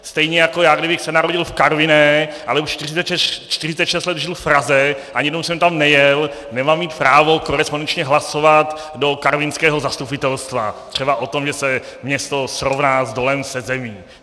Stejně jako já, kdybych se narodil v Karviné, ale už 46 let žil v Praze, ani jednou jsem tam nejel, nemám mít právo korespondenčně hlasovat do karvinského zastupitelstva třeba o tom, že se město srovná s dolem se zemí.